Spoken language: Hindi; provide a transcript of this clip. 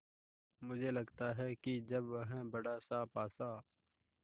मुझे लगता है कि जब वह बड़ासा पासा